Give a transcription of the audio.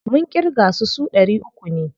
Mun ƙirga su, su ɗari uku ne.